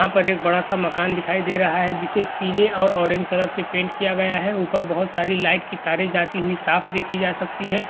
यहाँ पर एक बड़ा-सा मकान दिखाई दे रहा है जिसे पीले और ऑरेंज कलर से पेंट किया गया है| ऊपर बहुत सारी लाइट की तारे जाती हुई साफ देखी जा सकती है।